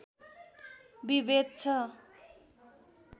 विभेद छ